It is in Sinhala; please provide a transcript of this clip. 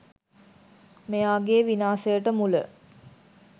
මෙයාගෙ විනාසයට මුල.